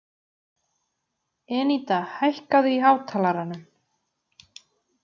Eníta, hækkaðu í hátalaranum.